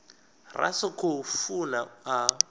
ra sa khou funa a